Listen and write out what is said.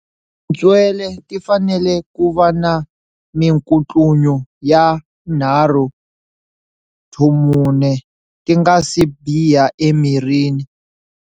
Tintswele ti fanele ku va na minkutlunyo ya 3-4 ti nga si biha emirini.